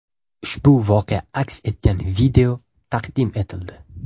Ushbu voqea aks etgan video taqdim etildi.